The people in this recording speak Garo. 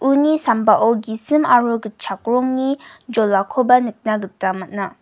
uni sambao gisim aro gitchak rongni jolakoba nikna gita man·a.